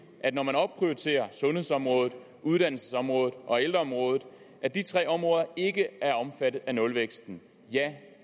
at man opprioriterer sundhedsområdet uddannelsesområdet og ældreområdet at de tre områder ikke er omfattet af nulvæksten ja